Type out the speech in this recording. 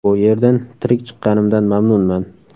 Bu yerdan tirik chiqqanimdan mamnunman.